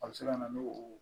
A bɛ se ka na n'o